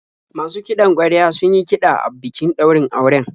Masu kiɗan ƙwarya sun yi kiɗa a bikin daurin auren.